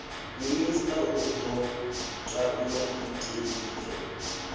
minista u do ta maiteie